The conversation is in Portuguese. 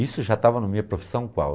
Isso já estava na minha profissão qual?